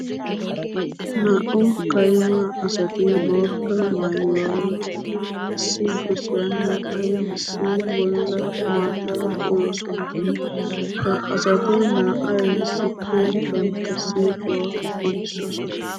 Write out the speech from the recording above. Naa'u kayimma asatti bootta maayuwa maayiddi issi gosiyan naa'ay issi bolla maata uyossonna. Ha asatti naa'ay issippe bantta siiquwa qonccisossona.